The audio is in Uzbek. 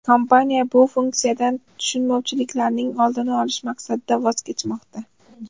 Kompaniya bu funksiyadan tushunmovchiliklarning oldini olish maqsadida voz kechmoqda.